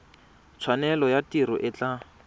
tshwanelo ya tiro e tla